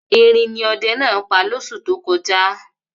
Erin ni ọdẹ náà pa lóṣù tó kọjá.